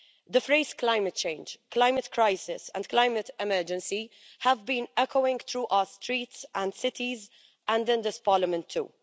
The phrases climate change', climate crisis' and climate emergency' have been echoing through our streets and cities, and in this Parliament too.